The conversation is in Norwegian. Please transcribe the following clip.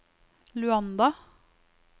Luanda